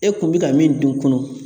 E kun bɛ ka min dun